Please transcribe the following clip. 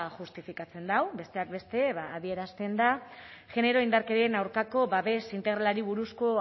justifikatzen du besteak beste ba adierazten da genero indarkeriaren aurkako babes integralari buruzko